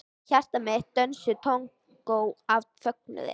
Hjarta mitt dansaði tangó af fögnuði.